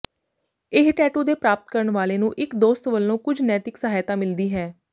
ਇਹ ਟੈਟੂ ਦੇ ਪ੍ਰਾਪਤ ਕਰਨ ਵਾਲੇ ਨੂੰ ਇੱਕ ਦੋਸਤ ਵਲੋਂ ਕੁਝ ਨੈਤਿਕ ਸਹਾਇਤਾ ਮਿਲਦੀ ਹੈ